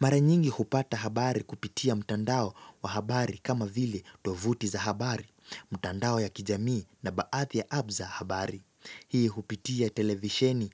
Mara nyingi hupata habari kupitia mtandao wa habari kama vile tovuti za habari, mtandao ya kijamii na baathi ya abbs za habari. Hii hupitia televisheni